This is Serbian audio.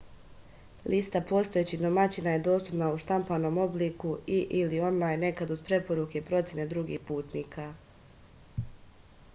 листа постојећих домаћина је доступна у штампаном облику и/или онлајн некад уз препоруке и процене других путника